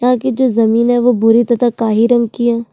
यहाँ की जो ज़मीन है वो भूरे तथा काहे रंग की है।